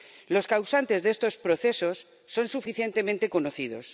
Los causantes de estos procesos son suficientemente conocidos.